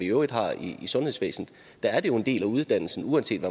øvrigt har i sundhedsvæsenet der er det jo en del af uddannelsen uanset